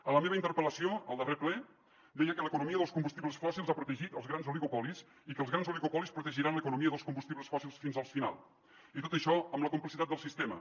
en la meva interpel·lació al darrer ple deia que l’economia dels combustibles fòssils ha protegit els grans oligopolis i que els grans oligopolis protegiran l’economia dels combustibles fòssils fins al final i tot això amb la complicitat del sistema